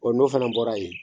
O n'o fana bɔra yen